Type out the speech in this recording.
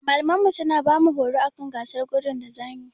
Malamanmu suna bamu horo akan gasar gudu da zamuyi.